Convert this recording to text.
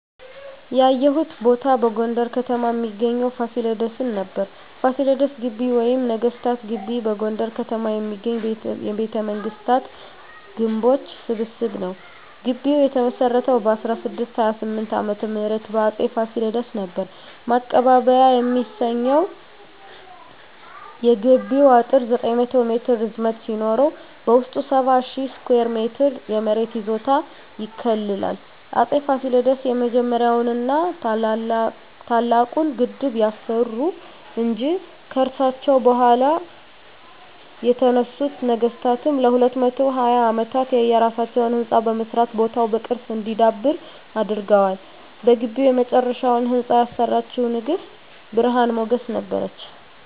ያየሁት ቦታ በጎንደር ከተማ እሚገኘዉን ፋሲለደስን ነበር። ፋሲለደስ ግቢ ወይም ነገስታት ግቢ በጎንደር ከተማ የሚገኝ የቤተመንግስታት ግምቦች ስብስብ ነዉ። ግቢዉ የተመሰረተዉ በ1628 ዓ.ም በአፄ ፋሲለደስ ነበር። ማቀባበያ የሚሰኘዉ የግቢዉ አጥር 900 ሜትር ርዝመት ሲኖረዉ በዉስጡ 70,000 ስኩየር ሜትር የመሬት ይዞታ ይከልላል። አፄ ፋሲለደስ የመጀመሪያዉን ና ታላቁን ግድብ ያሰሩ እንጂ፣ ከርሳቸዉ በኋላ የተነሱት ነገስታትም ለ220 አመታት የየራሳቸዉን ህንፃ በመስራት ቦታዉ በቅርስ እንዲዳብር አድርገዋል። በግቢዉ የመጨረሻዉን ህንፃ ያሰራችዉ ንግስት ብርሀን ሞገስ ነበረች።